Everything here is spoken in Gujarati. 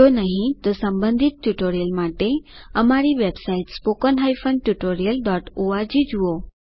જો નહિં તો સંબંધિત ટ્યુટોરિયલ્સ માટે અમારી વેબસાઇટ httpspoken tutorialorg જુઓ